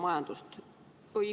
Õigus.